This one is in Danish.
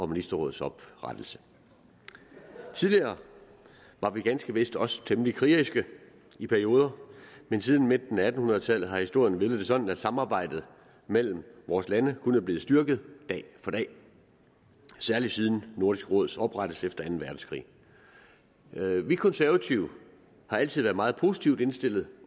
ministerråds oprettelse tidligere var vi ganske vist også temmelig krigeriske i perioder men siden midten af atten hundrede tallet har historien villet det sådan at samarbejdet mellem vores lande kun er blevet styrket dag for dag særlig siden nordisk råds oprettelse efter anden verdenskrig vi konservative har altid været meget positivt indstillet